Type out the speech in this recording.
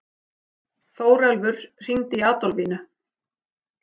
Þórelfur, hringdu í Adolfínu.